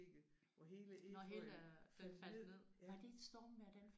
Nåh hele øh den faldt ned. Var det et stormvejr den faldt ned?